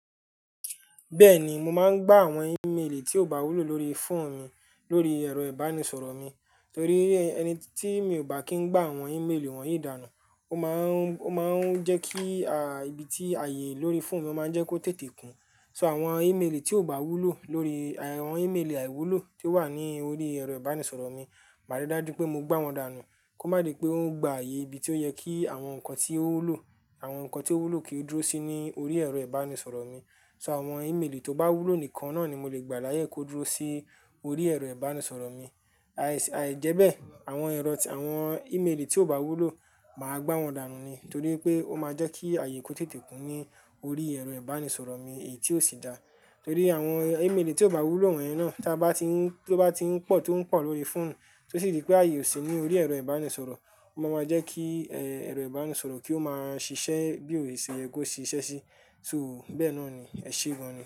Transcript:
Bẹ́ẹ̀ni, mo máa ń gbá àwọn ímélì tí ò bá wúlò lórí fóònù mi lórí ẹ̀rọ ìbánisọ̀rọ̀ mi, torí ẹni tí mi ò bá kín ń gbá àwọn ímélì wọ̀nyí dànù, ó máa ń jẹ́ kí ibi tí ààyè lórí fóònù mi máa jẹ́ kó tètè kún. So àwọn ímélì tí ò bá wúlò lórí àwọn ímélì àìwúlò tí ó wà ní orí ẹ̀rọ ìbánisọ̀rọ̀ mi, màá rí dájú pé mo gbá wọn dànù kó má di pé ó ń gba ààyè ibi tí ó yẹ kí àwọn nǹkan tí ó wúlò kí ó dúró sí ní orí ẹ̀rọ ìbánisọ̀rọ̀ mi. So àwọn ímélì tó bá wúlò nìkan náà ni mo lè gbà láyè kó dúró sí orí ẹ̀rọ ìbánisọ̀rọ̀ mi. Àìjẹ́bẹ́ àwọn ímélì tí ò bá wúlò, màá gbá wọn dànù ni torí pé ó máa jẹ́ kí ààyè kó tètè kún ní orí ẹ̀rọ ìbánisọ̀rọ̀ mi èyí tí ò sí da. Torí àwọn ímélì tí ò bá wúlò wọ̀nyí náà tí ó bá ti ń pọ̀ tó ń pọ̀ lórí fóònù tí ó sì dí pé ààyè ò sí ní orí ẹ̀rọ ìbánisọ̀rọ̀, ó máa ma jẹ́ kí ẹ̀rọ ìbánisọ̀rọ̀ kí ó máa ṣiṣẹ́ bí ò ṣè yẹ kó ṣe ṣiṣẹ́ sí. So bẹ́ẹ̀ náà ni, ẹ ṣe gan ni.